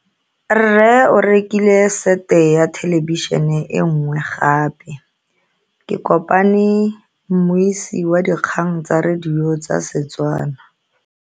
Rre o rekile sete ya thelebišene e nngwe gape. Ke kopane mmuisi w dikgang tsa radio tsa Setswana.